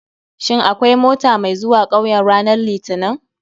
Shin akwai mota mai zuwa 'kauyen ranar litinin?